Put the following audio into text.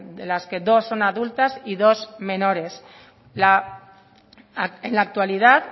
de las que dos son adultas y dos menores en la actualidad